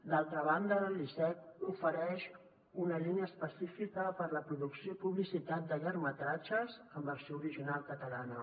d’altra banda l’icec ofereix una línia específica per a la producció i publicitat de llargmetratges en versió original catala·na